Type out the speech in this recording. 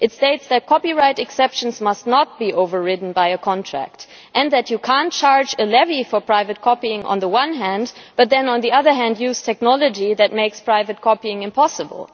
It states that copyright exceptions must not be overridden by a contract, and that you cannot charge a levy for private copying on the one hand, but then, on the other hand, use technology that makes private copying impossible.